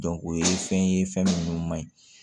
o ye fɛn ye fɛn minnu man ɲi